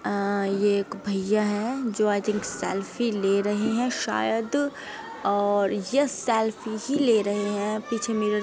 ये एक भइया हैं जो आज एक सेल्फी ले रहे हैं शायद और यह सेल्फी ही ले रहे हैं पीछे मिरर --